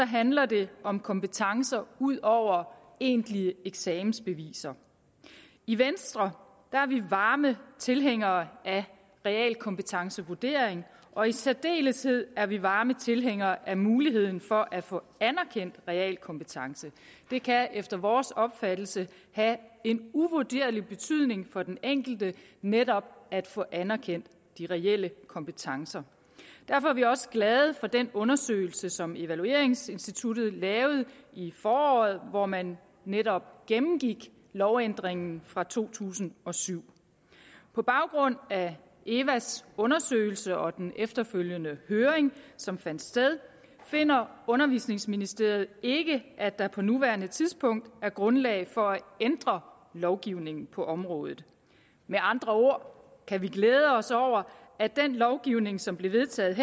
handler det om kompetencer ud over egentlige eksamensbeviser i venstre er vi varme tilhængere af realkompetencevurderinger og i særdeleshed er vi varme tilhængere af muligheden for at få anerkendt realkompetence det kan efter vores opfattelse have en uvurderlig betydning for den enkelte netop at få anerkendt de reelle kompetencer derfor er vi også glade for den undersøgelse som evalueringsinstituttet lavede i foråret hvor man netop gennemgik lovændringen fra to tusind og syv på baggrund af eva’s undersøgelse og den efterfølgende høring som fandt sted finder undervisningsministeriet ikke at der på nuværende tidspunkt er grundlag for at ændre lovgivningen på området med andre ord kan vi glæde os over at den lovgivning som blev vedtaget